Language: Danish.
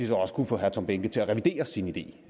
så også kunne få herre tom behnke til at revidere sin idé